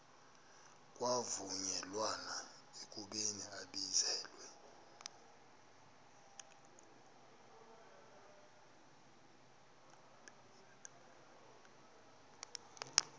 kwavunyelwana ekubeni ibizelwe